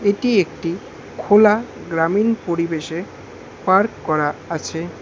এটি একটি খোলা গ্রামীণ পরিবেশে পার্ক করা আছে।